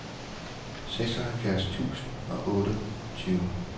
seksoghalvfjerds tusind og otteogtyve